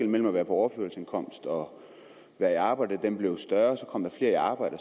mellem at være på overførselsindkomst og være i arbejde blev større kom der flere i arbejde